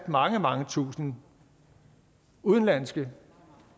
mange mange tusinde udenlandske